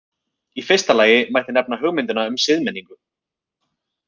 Í fyrsta lagi mætti nefna hugmyndina um siðmenningu.